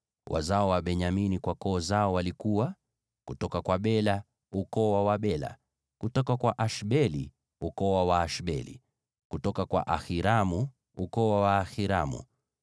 Wazao wa Benyamini kwa koo zao walikuwa: kutoka kwa Bela, ukoo wa Wabela; kutoka kwa Ashbeli, ukoo wa Waashbeli; kutoka kwa Ahiramu, ukoo wa Waahiramu;